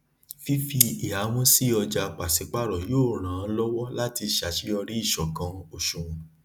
fífi ìhámó sí ọjà pàsípàrọ yóò ràn lówọ láti ṣàṣeyọrí ìṣòkan òṣùwòn